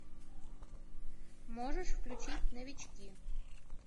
можешь включить новички